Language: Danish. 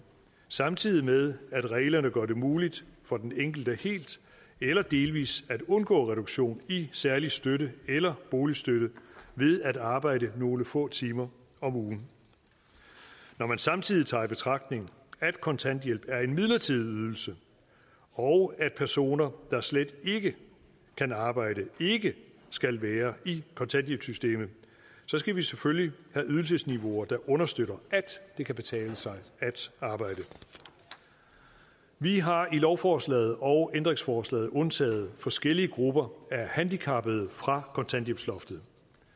samtidig med at reglerne gør det muligt for den enkelte helt eller delvis at undgå reduktion i særlig støtte eller boligstøtte ved at arbejde nogle få timer om ugen når man samtidig tager i betragtning at kontanthjælp er en midlertidig ydelse og at personer der slet ikke kan arbejde ikke skal være i kontanthjælpssystemet så skal vi selvfølgelig have ydelsesniveauer der understøtter at det kan betale sig at arbejde vi har i lovforslaget og ændringsforslaget undtaget forskellige grupper af handicappede fra kontanthjælpsloftet